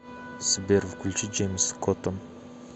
сбер включи джеймс коттон